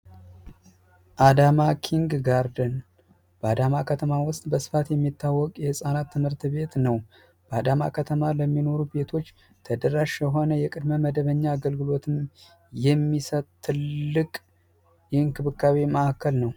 አዳማ ኪንግ ጋርደን በአዳማ ከተማ ውስጥ በስፋት የሚታወቅ የህጻናት ትምህርት ቤት ነው በአዳማ ከተማ ለሚኖሩ ቤቶች ተደራሽ የሆነ ቅድሚያ መደበኛ አገልግሎት የሚሠጥ ትልቅ እንክብካቤ ማዕከል ነው።